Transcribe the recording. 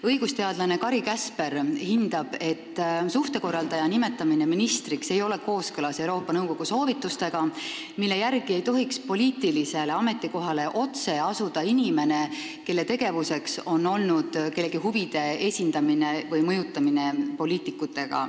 Õigusteadlane Kari Käsper hindab, et suhtekorraldaja nimetamine ministriks ei ole kooskõlas Euroopa Nõukogu soovitustega, mille järgi ei tohiks poliitilisele ametikohale otse asuda inimene, kelle tegevuseks on olnud kellegi huvides poliitikute mõjutamine.